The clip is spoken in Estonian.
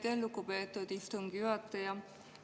Aitäh, lugupeetud istungi juhataja!